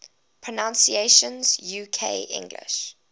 pronunciations uk english